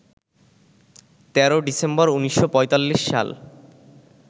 ১৩ December ১৯৪৫ সাল